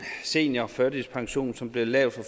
seniorførtidspension som blev lavet for